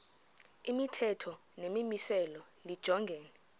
imithetho nemimiselo lijongene